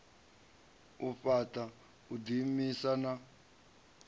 u fhaṱa u ḓiimisa na